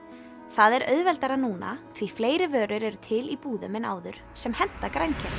það er auðvelt núna því fleiri vörur eru til í búðum en áður sem henta grænkerum